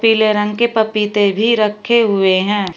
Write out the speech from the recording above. पीले रंग के पपीते भी रखें हुए हैं।